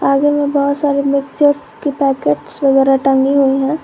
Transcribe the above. आगे में बहुत सारे मिक्सचर्स के पैकेट वगैरा टंगी हुई हैं।